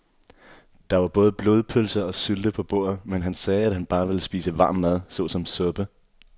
Der var både blodpølse og sylte på bordet, men han sagde, at han bare ville spise varm mad såsom suppe.